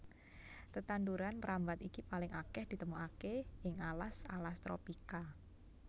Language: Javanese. Tetanduran mrambat iki paling akèh ditemokaké ing alas alas tropika